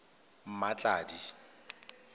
mmatladi